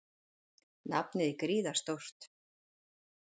Nafnið er gríðarstórt.